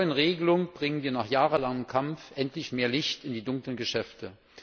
Mit der neuen Regelung bringen wir nach jahrelangem Kampf endlich mehr Licht in die dunklen Geschäfte.